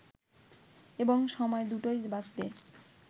এবং সময় দুটোই বাঁচবে